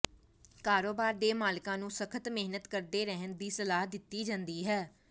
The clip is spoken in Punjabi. ਕਾਰੋਬਾਰ ਦੇ ਮਾਲਕਾਂ ਨੂੰ ਸਖਤ ਮਿਹਨਤ ਕਰਦੇ ਰਹਿਣ ਦੀ ਸਲਾਹ ਦਿੱਤੀ ਜਾਂਦੀ ਹੈ